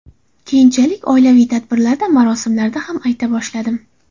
Keyinchalik oilaviy tadbirlarda, marosimlarda ham ayta boshladim.